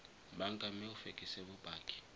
banka mme o fekese bopaki